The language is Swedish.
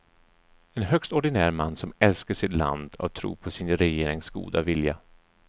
En högst ordinär man som älskar sitt land och tror på sin regerings goda vilja.